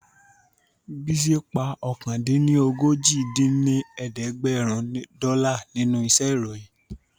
Bísí pa ọ̀kan-dín-ní-ojì dín ní ẹ̀ẹ́dẹ́gbẹ́rún dọ́là nínú iṣẹ́ ìròyìn